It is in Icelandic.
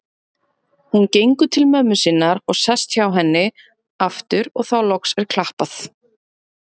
Hún gengur til mömmu sinnar og sest hjá henni aftur og þá loks er klappað.